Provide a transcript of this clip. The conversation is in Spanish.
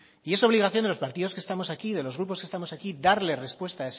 y es obligación de los partidos que estamos aquí de los grupos que estamos aquí darle respuesta